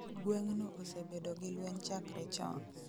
Gweng' no osebedo gi lueny chakre chon